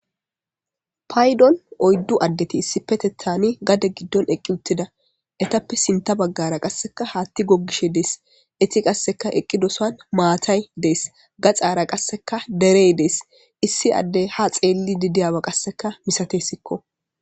Paydon oyddu addeti issi petethani gade giddon eqqi uttida etappe sinta baggara qasseka haatti gogishe dees eti qasseka eqqi dosan maatay dees gaxara qasseka derey dees issi addey ha xeelli didiyawa qasseka misatessikko.